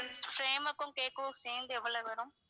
frame க்கும் cake க்கும் சேர்ந்து எவ்ளோ வரும்?